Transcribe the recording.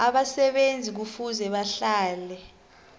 abasebenzi kufuze bahlale